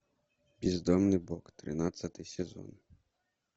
бездомный бог тринадцатый сезон